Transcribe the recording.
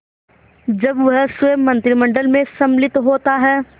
जब वह स्वयं मंत्रिमंडल में सम्मिलित होता है